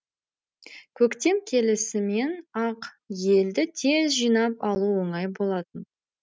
көктем келісімен ақ елді тез жинап алу оңай болатын